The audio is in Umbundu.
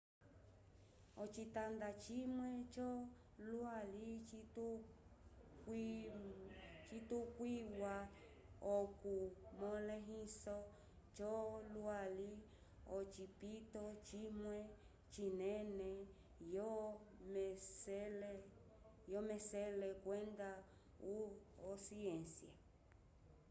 ocitanda cimwe co lwali citukwiwa oku molehiso co lwali ocipito cimwe cinene yo mesele kwenda o ciência